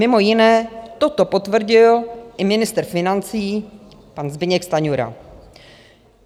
Mimo jiné toto potvrdil i ministr financí pan Zbyněk Stanjura.